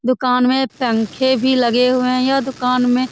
दुकान मे पंखे भी लगे हुए है यह दुकान मे --